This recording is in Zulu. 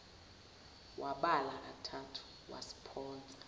wabala kathathu basiphonsa